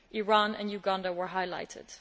Iran and Uganda were highlighted.